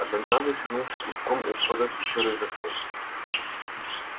одноглазый свернулся клубком у входа в пещеру и заснул